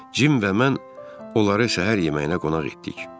Cim və mən onları səhər yeməyinə qonaq etdik.